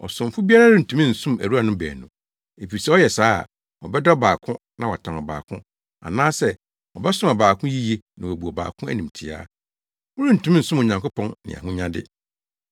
“Ɔsomfo biara rentumi nsom awuranom baanu, efisɛ ɔyɛ saa a, ɔbɛdɔ ɔbaako na watan ɔbaako anaasɛ, ɔbɛsom ɔbaako yiye na wabu ɔbaako animtiaa. Morentumi nsom Onyankopɔn ne ahonyade.”